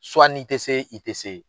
n'i tɛ se i tɛ se.